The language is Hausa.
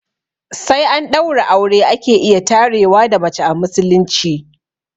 Sai an ɗaura aure ake iya tarewa da mace a musulunci